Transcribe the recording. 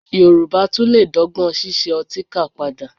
Yorùbá tún lè dọ́gbọ́n ṣíṣe ọtíkà padà